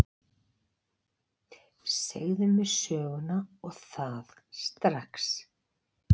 Segðu mér söguna, og það strax.